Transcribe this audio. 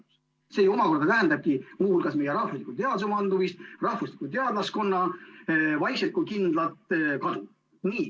] See omakorda tähendabki muu hulgas meie rahvusliku teaduse mandumist, rahvusliku teadlaskonna vaikset, kuid kindlat kadu.